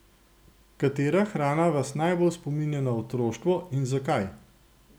Katera hrana vas najbolj spominja na otroštvo in zakaj?